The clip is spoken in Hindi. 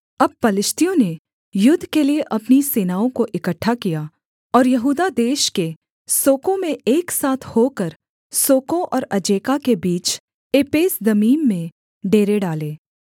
अब पलिश्तियों ने युद्ध के लिये अपनी सेनाओं को इकट्ठा किया और यहूदा देश के सोको में एक साथ होकर सोको और अजेका के बीच एपेसदम्मीम में डेरे डाले